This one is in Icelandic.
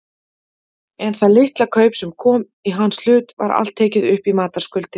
En það litla kaup sem kom í hans hlut var allt tekið upp í matarskuldir.